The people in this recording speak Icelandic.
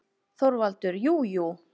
ÞORVALDUR: Jú, jú!